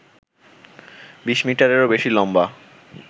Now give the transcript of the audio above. বিশ মিটারেরও বেশি লম্বা